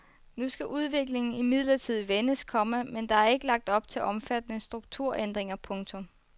Nu skal udviklingen imidlertid vendes, komma men der er ikke lagt op til omfattende strukturændinger. punktum